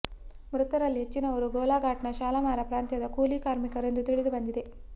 ಮೃತರಲ್ಲಿ ಹೆಚ್ಚಿನವರು ಗೋಲಾಘಾಟ್ನ ಶಾಲಮಾರ ಪ್ರಾಂತ್ಯದ ಕೂಲಿ ಕಾರ್ಮಿಕರು ಎಂದು ತಿಳಿದು ಬಂದಿದೆ